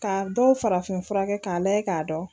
Ka dɔw farafin fura kɛ k'a layɛ k'a dɔn